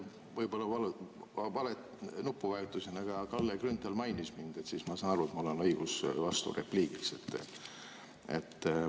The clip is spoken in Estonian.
Võib-olla ma vajutasin valet nuppu, aga Kalle Grünthal mainis mind ja ma saan aru, et siis mul on õigus vasturepliigiks.